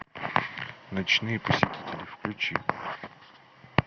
ночные посетители включи